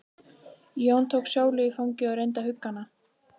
Jón tók Sólu í fangið og reyndi að hugga hana.